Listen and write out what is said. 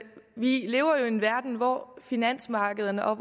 vi lever jo i en verden hvor finansmarkederne og